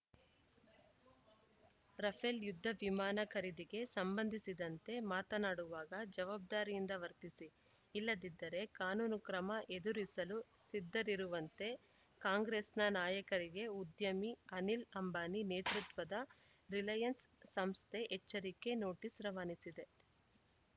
Rafale ಯುದ್ಧ ವಿಮಾನ ಖರೀದಿಗೆ ಸಂಬಂಧಿಸಿದಂತೆ ಮಾತನಾಡುವಾಗ ಜವಾಬ್ದಾರಿಯಿಂದ ವರ್ತಿಸಿ ಇಲ್ಲದಿದ್ದರೆ ಕಾನೂನು ಕ್ರಮ ಎದುರಿಸಲು ಸಿದ್ಧರಿರುವಂತೆ ಕಾಂಗ್ರೆಸ್‌ನ ನಾಯಕರಿಗೆ ಉದ್ಯಮಿ ಅನಿಲ್‌ ಅಂಬಾನಿ ನೇತೃತ್ವದ ರಿಲಯನ್ಸ್‌ ಸಂಸ್ಥೆ ಎಚ್ಚರಿಕೆ ನೋಟಿಸ್‌ ರವಾನಿಸಿದೆ